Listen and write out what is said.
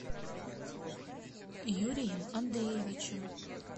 юрием андреевичем